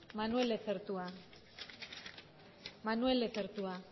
manuel lezertua manuel lezertua